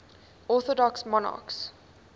orthodox monarchs